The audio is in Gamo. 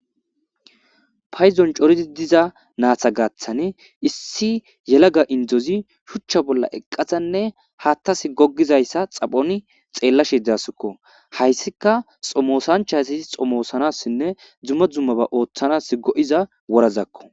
Payzon coridi diza naata gaaththan issi yelaga indozi shuchcha bolla eqqadanne haattas gogizayssa xaphoni xeellashedaasikko .Hayssika xomosanchasi xomoosanassinne dumma dumma ba ooththanas go7iza worazakko.